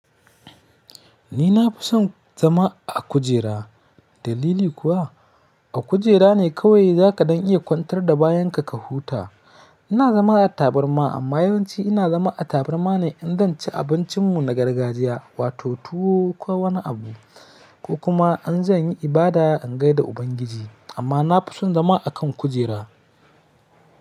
Ni na fi son zama a kujera. Dalili kuwa a kujera ne kawai za kaɗan iya kwantar da bayan ka ka huta. Ina zama a tabarma amma yawanci ina zama a tabarma ne in zan ci abincinmu na gargajiya wato tuwo ko wani abu ko kuma in zan yi ibada in gai da Ubangiji. Amma na fi son zama a kan kujera.